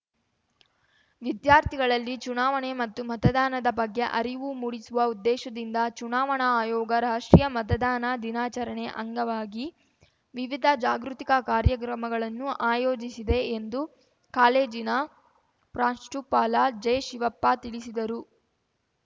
ವಿದ್ಯಾರ್ಥಿಗಳಲ್ಲಿ ಚುನಾವಣೆ ಮತ್ತು ಮತದಾನದ ಬಗ್ಗೆ ಅರಿವು ಮೂಡಿಸುವ ಉದ್ದೇಶದಿಂದ ಚುನಾವಣಾ ಆಯೋಗ ರಾಷ್ಟ್ರೀಯ ಮತದಾನ ದಿನಾಚರಣೆ ಅಂಗವಾಗಿ ವಿವಿಧ ಜಾಗೃತಿಕ ಕಾರ್ಯಕ್ರಮಗಳನ್ನು ಆಯೋಜಿಸಿದೆ ಎಂದು ಕಾಲೇಜಿನ ಪ್ರಾಂಶುಪಾಲ ಜೆಶಿವಪ್ಪ ತಿಳಿಸಿದರು